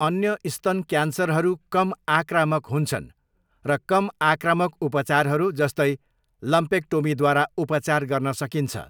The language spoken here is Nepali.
अन्य स्तन क्यान्सरहरू कम आक्रामक हुन्छन् र कम आक्रामक उपचारहरू जस्तै लम्पेक्टोमीद्वारा उपचार गर्न सकिन्छ।